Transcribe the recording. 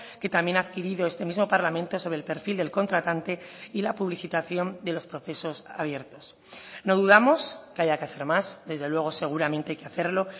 que también ha adquirido este mismo parlamento sobre el perfil del contratante y la publicitación de los procesos abiertos no dudamos que haya que hacer más desde luego seguramente hay que hacerlo